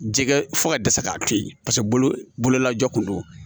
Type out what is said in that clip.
Jɛgɛ fo ka dɛsɛ k'a to yen paseke bololajɔ kun do